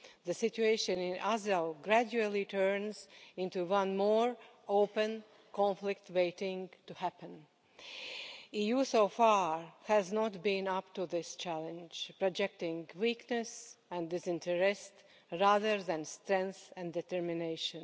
The situation in Azov gradually turns into one more open conflict waiting to happen. The EU so far has not been up to this challenge, projecting weakness and disinterest rather than strength and determination.